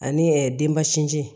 Ani denba sinji